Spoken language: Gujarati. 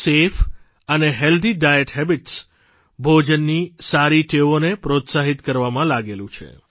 સફે અને હેલ્થી ડાયટ હેબિટ્સ ભોજનની સારી ટેવોને પ્રોત્સાહિત આપવામાં લાગેલું છે